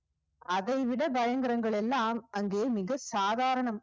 அதைவிட பயங்கரங்கள் எல்லாம் அங்கு மிகச் சாதாரணம்